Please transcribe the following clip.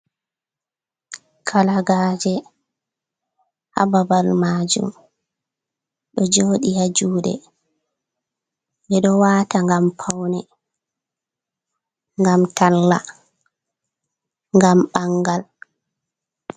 Kalagaje ha babal majum, ɗo jooɗi ha juuɗe ɓe ɗo waata ngam paune, ngam talla, ngam ɓangal.